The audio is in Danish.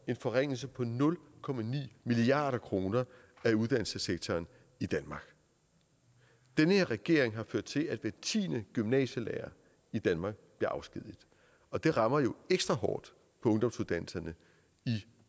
en forringelse på nul milliard kroner af uddannelsessektoren i danmark den her regering har ført til at hver tiende gymnasielærer i danmark bliver afskediget og det rammer jo ekstra hårdt på ungdomsuddannelserne i